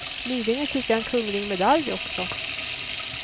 Nyligen fick jag en kunglig medalj också.